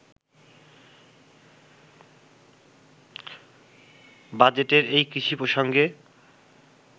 বাজেটের এই কৃষি প্রসঙ্গে